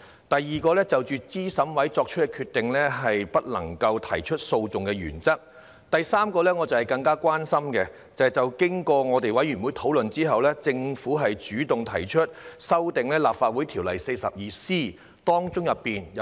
第三，這是我更加關心的，就是經過《2021年完善選舉制度條例草案》委員會討論之後，政府主動提出修訂《立法會條例》第 42C 條中有